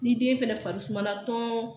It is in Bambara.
Ni den fɛnɛ fari sumana tɔn